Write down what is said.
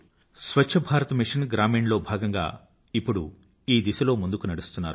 స్వచ్ఛ Bharat mission Grameen లో భాగంగా ఇప్పుడు ఈ దిశలో ముందుకు నడుస్తున్నారు